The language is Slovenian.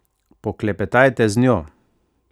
Poklepetajte z njo!